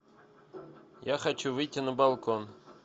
я хочу выйти на балкон